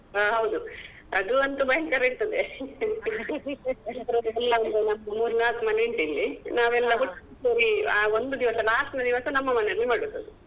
ಹ ಹೌದು ಅದು ಅಂತು ಭಯಂಕರ ಇರ್ತದೆ ನಮ್ದು ಒಂದು ಮೂರ್ ನಾಕು ಮನೆ ಉಂಟು ಇಲ್ಲಿ ನಾವೆಲ್ಲ ಒಟ್ಟಿಗೆ ಸೇರಿ ಆ ಒಂದು ದಿವಸ last ದಿವಸ ನಮ್ಮ ಮನೇಲಿ ಮಾಡುದು ಅದು.